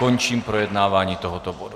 Končím projednávání tohoto bodu.